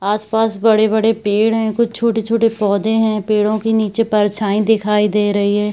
आस-पास बड़े-बड़े पेड़ है कुछ छोटे-छोटे पौधे है पेड़ो के नीचे परछाई दिखाई दे रही है।